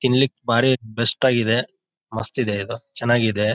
ತಿನ್ಲಿಕೆ ಬಾರಿ ಭೆಸ್ಟ್ ಆಗಿದೆ ಮಸ್ತ್ ಇದೆ ಚೆನ್ನಾಗಿ ಇದೆ.